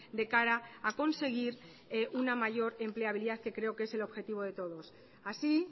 de cara a conseguir una mayor empleabilidad que creo que es el objetivo de todos así